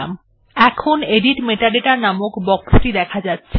এরপর আপনি edit metadata নামক বক্সটি দেখতে পাবেন